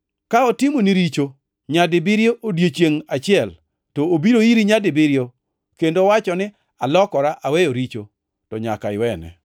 Ka otimoni richo nyadibiriyo odiechiengʼ achiel to obiro iri nyadibiriyo kendo owacho ni, ‘Alokora aweyo richo,’ to nyaka iwene.”